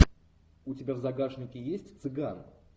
у тебя в загашнике есть цыган